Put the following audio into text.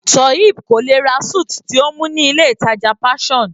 Toheeb kò lè ra suit tí ó mú ní ilé ìtàjà Passion.